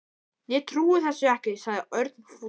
Ég trúi þessu ekki sagði Örn fúll.